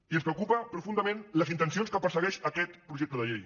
i ens preocupen profundament les intencions que persegueix aquest projecte de llei